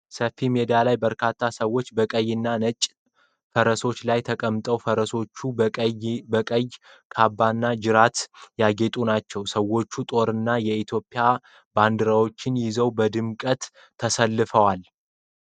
ሰፊ ሜዳ ላይ በርካታ ሰዎች በቀይና ነጭ ፈረሶች ላይ ተቀምጠዋል። ፈረሶቹ በቀይ ካባና ጅራት ያጌጡ ናቸው። ሰዎቹ ጦርና የኢትዮጵያ ባንዲራዎችን ይዘው በድምቀት ተሰልፈዋል።